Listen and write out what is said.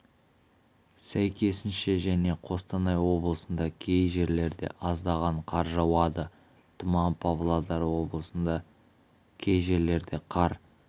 сәйкесінше және қостанай облысында кей жерлерде аздаған қар жауады тұман павлодар облысында кей жерлерде қар